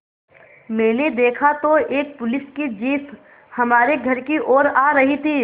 मैंने देखा तो एक पुलिस की जीप हमारे घर की ओर आ रही थी